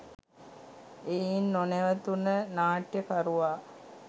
එයින් නොනැවතුණ නාට්‍යකරුවා